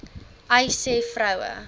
uys sê vroue